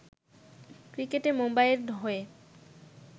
ক্রিকেটে মুম্বাইয়ের হয়ে